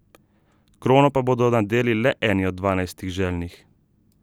Krono pa bodo nadeli le eni od dvanajstih željnih.